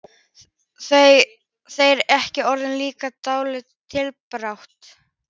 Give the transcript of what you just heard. Eru þeir ekki orðnir líklegir í deildar titilbaráttu??